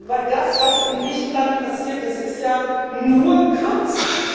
Denn das, was in Griechenland passiert, das ist ja nur kürzen.